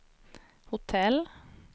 hotell